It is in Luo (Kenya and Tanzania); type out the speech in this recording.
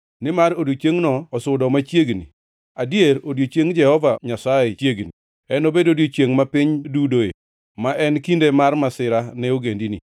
Nimar odiechiengno osudo machiegni, adier odiechiengʼ Jehova Nyasaye chiegni; enobed odiechiengʼ ma piny dudoe, ma en kinde mar masira ne ogendini.